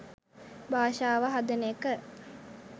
භාෂාව හදන එක